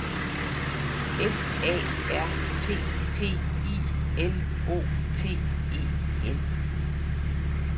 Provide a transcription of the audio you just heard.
F A R T P I L O T E N